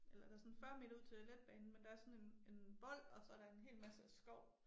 Eller der sådan 40 meter ud til letbanen men der er sådan en en vold og så der en hel masse skov